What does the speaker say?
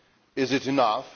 Is it enough?